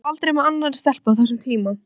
Lengi mátti þó heyra stöku gól í fjarska.